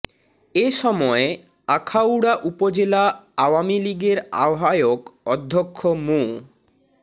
এ সময় আখাউড়া উপজেলা আওয়ামী লীগের আহ্বায়ক অধ্যক্ষ মো